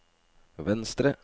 venstre